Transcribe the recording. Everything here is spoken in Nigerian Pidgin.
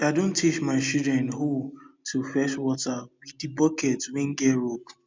i don teach my children hoe to fetch water with the bucket wen get rope